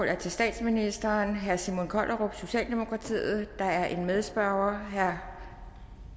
er til statsministeren af herre simon kollerup socialdemokratiet der er en medspørger nemlig herre